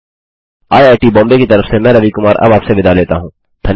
I I T Bombay की तरफ से मैं रवि कुमार अब आपसे विदा लेता हूँ